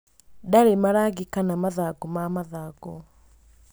Ndarĩ marangi kana mathangũ ma mathangũ.